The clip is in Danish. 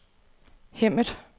Hemmet